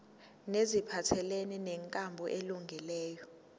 neziphathelene nenkambo elungileyo